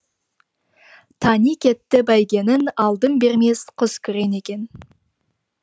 тани кетті бәйгенің алдын бермес қызкүрең екен